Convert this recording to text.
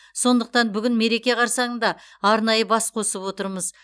сондықтан бүгін мереке қарсаңында арнайы бас қосып отырмыз